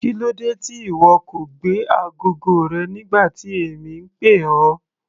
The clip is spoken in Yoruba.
Kílódé tí ìwọ kò gbé agogo rẹ nígbà tí èmi ń pè ọ́.